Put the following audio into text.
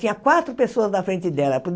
Tinha quatro pessoas na frente dela.